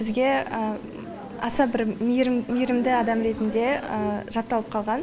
бізге аса бір мейірімді адам ретінде жатталып қалған